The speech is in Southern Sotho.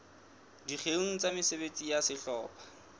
dikgeong tsa mesebetsi ya sehlopha